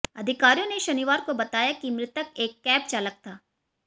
अधिकारियों ने शनिवार को बताया कि मृतक एक कैब चालक था